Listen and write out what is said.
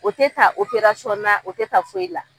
O tɛ ta operasɔn na o tɛ ta foyi la.